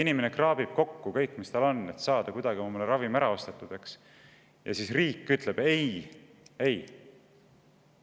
Inimene kraabib kokku kõik, mis tal on, et saada see ravim kuidagi ostetud, ja siis ütleb riik: "Ei-ei!